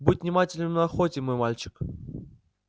будь внимателен на охоте мой мальчик